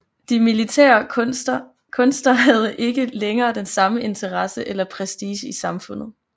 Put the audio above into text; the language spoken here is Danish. De militære kunster havde ikke længere den samme interesse eller prestige i samfundet